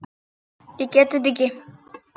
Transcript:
Ég get þetta ekki.